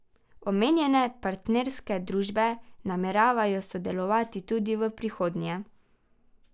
Omenjene partnerske družbe nameravajo sodelovati tudi v prihodnje.